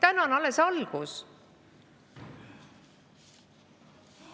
Tänane on alles algus.